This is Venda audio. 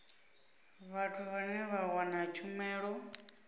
vhathu vhane vha wana tshumelo